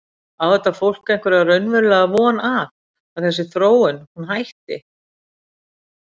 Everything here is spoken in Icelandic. Á þetta fólk einhverja raunverulega von að, að þessi þróun hún hætti?